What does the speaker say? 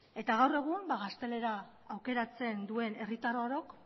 eta gaur egun ba gaztelera aukeratzen duen herritar orok